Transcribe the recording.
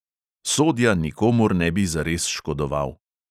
Sodja nikomur ne bi zares škodoval.